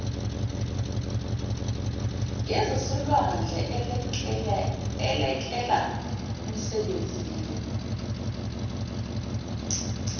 yezasolwandle elekela kumsebenzini